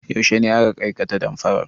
Yaushe ne aka aikata damfarar?